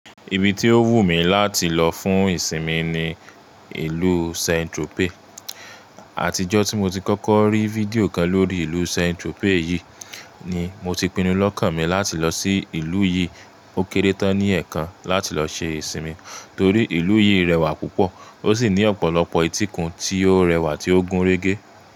Ibi tí ó wù mí láti lọ fún ìsinmi ni ìlú Saint Tropez. Àtijọ́ tí mo ti kọ́kọ́ rí fídíò kan lórí ìlú Saint Tropez yìí ni mo ti pinnu lọ́kàn mi láti lọ sí ìlú yìí ó kéré tán ní ẹ̀ẹ̀kan láti lọ ṣe ìsinmi torí ìlú yìí rẹwà púpọ̀ ó sì ní ọ̀pọ̀lọpọ̀ ìtìkun tí ó rẹwà tí ó gúnrégé.